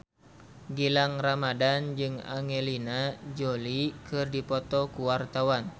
Gilang Ramadan jeung Angelina Jolie keur dipoto ku wartawan